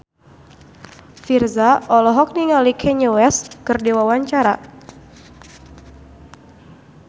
Virzha olohok ningali Kanye West keur diwawancara